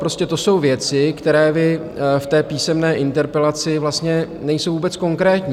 Prostě to jsou věci, které vy v té písemné interpelaci, vlastně nejsou vůbec konkrétní.